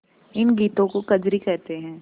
इन गीतों को कजरी कहते हैं